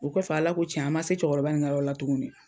O kɔfɛ, Ala ko tiɲɛn, an ma se cɛkɔrɔba in ka yɔrɔ la tuguni.